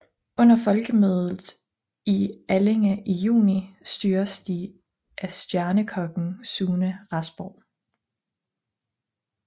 Under Folkemødet i Allinge i juni styres de af stjernekokken Sune Rasborg